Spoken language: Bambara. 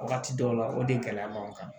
Wagati dɔw la o de gɛlɛya b'an kan